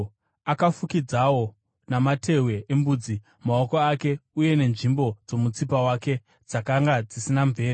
Akafukidzawo namatehwe embudzi, maoko ake uye nenzvimbo dzomutsipa wake dzakanga dzisina mvere.